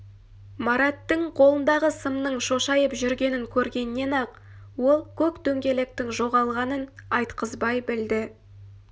мараттың қолындағы сымның шошайып жүргенін көргеннен-ақ ол көк дөңгелектің жоғалғанын айтқызбай білді